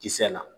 Kisɛ la